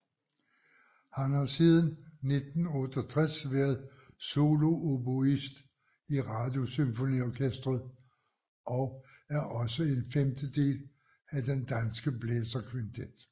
Han har siden 1968 været solooboist i Radiosymfoniorkestret og er også en femtedel af den Danske Blæserkvintet